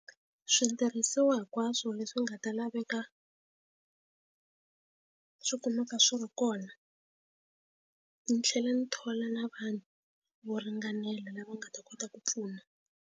Switirhisiwa hinkwaswo leswi nga ta laveka swi kumeka swi ri kona ndzi tlhela ndzi thola na vanhu vo ringanela lava nga ta kota ku pfuna.